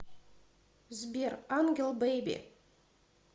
сбер ангел бэйби